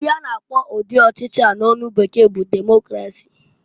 Ihe a na akpọ ụdị ọchị a n'onu bekee bụ Democrasi.